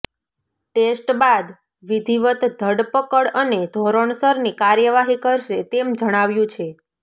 test બાદ વિધિવત ધરપકડ અને ધોરણસરની કાર્યવાહી કરશે તેમ જણાવ્યું છે